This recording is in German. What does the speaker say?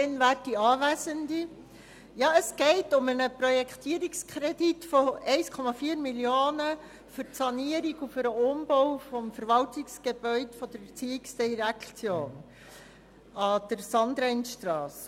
der BaK. Es geht um einen Projektierungskredit von 1,4 Mio. Franken für die Sanierung und den Umbau des Verwaltungsgebäudes der ERZ an der Sulgeneckstrasse.